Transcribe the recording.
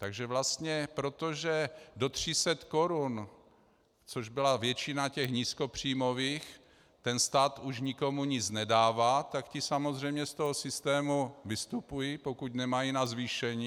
Takže vlastně protože do 300 korun, což byla většina těch nízkopříjmových, ten stát už nikomu nic nedává, tak ti samozřejmě z toho systému vystupují, pokud nemají na zvýšení.